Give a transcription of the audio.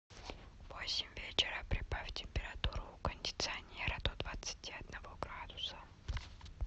в восемь вечера прибавь температуру у кондиционера до двадцати одного градуса